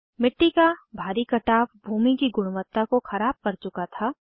मिट्टी का भारी कटाव भूमि की गुणवत्ता को ख़राब कर चुका था